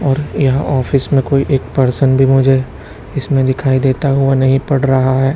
और यहां ऑफिस में कोई एक पर्सन भी मुझे इसमें दिखाई देता हुआ नहीं पड़ रहा है।